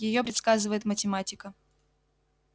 её предсказывает математика